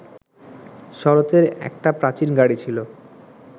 শরতের একটা প্রাচীন গাড়ি ছিল